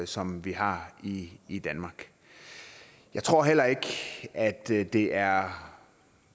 som vi har i i danmark jeg tror heller ikke at det det er